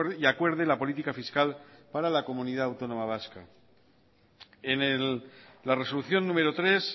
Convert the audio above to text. y acuerde la política fiscal para la comunidad autónoma vasca en la resolución número tres